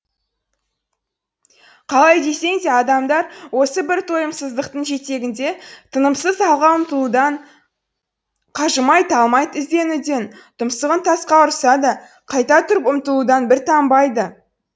қалай десең де адамдар осы бір тойымсыздықтың жетегінде тынымсыз алға ұмтылудан қажымай талмай ізденуден тұмсығын тасқа ұрса да қайта тұрып ұмтылудан бір танбайды